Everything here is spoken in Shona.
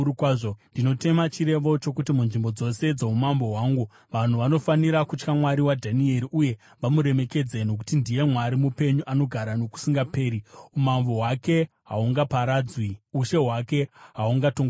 “Ndinotema chirevo chokuti munzvimbo dzose dzoumambo hwangu vanhu vanofanira kutya Mwari waDhanieri uye vamuremekedze. “Nokuti ndiye Mwari mupenyu, anogara nokusingaperi; umambo hwake hahungaparadzwi, ushe hwake hahutongogumi.